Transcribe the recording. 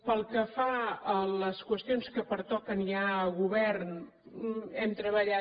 pel que fa a les qüestions que pertoquen ja a govern hem treballat